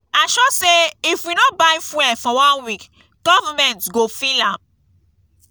i sure say if we no buy fuel for one week government go feel am.